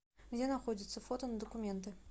где находится фото на документы